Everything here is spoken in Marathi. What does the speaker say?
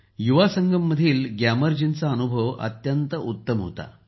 युवा संगममधील ग्यामर जी यांचा अनुभव तर अत्यंत उत्तम होता